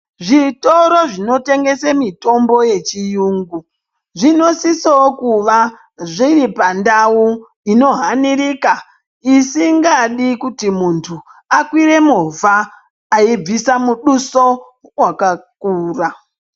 Zvitoro zvinotengese mitombo yechiyungu zvinosisovo kuva zviri pandau inohanirika. Isingadi kuti muntu akwire movha aibvisa muduso vakakura.